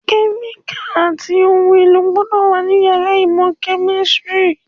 Kẹ́míkàlì àti ohun èlò gbọ́dọ̀ wà ní yàrá ìmọ̀ kẹ̀mísírì